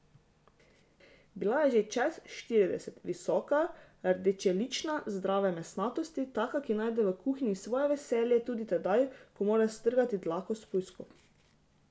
Bila je že čez štirideset, visoka, rdečelična, zdrave mesnatosti, taka, ki najde v kuhinji svoje veselje tudi tedaj, ko mora strgati dlako s pujskov.